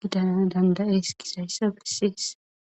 gidana dandayees kishayssa bessees